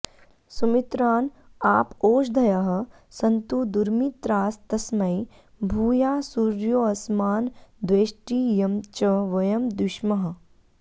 सुमित्रान आप ओषधयः सन्तु दुर्मित्रास्तस्मै भूयासुर्योऽस्मान्द्वेष्टि यं च वयं द्विष्मः